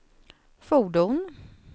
fordon